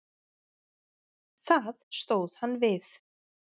Það stóð hann við.